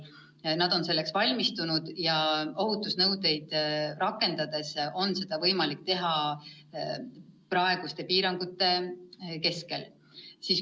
Nad on selleks valmistunud ja ohutusnõudeid rakendades on seda võimalik teha ka praeguste piirangute kehtides.